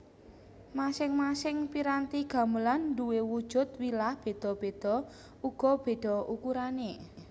Masing masing piranti gamelan nduwe wujud wilah beda beda uga beda ukurane